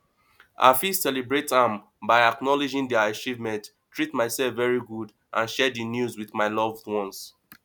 i fit celebrate am by acknowledging di achievements treat myself very good and share di news with my loved ones